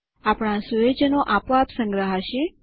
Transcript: આપણા સુયોજનો આપોઆપ સંગ્રહાશે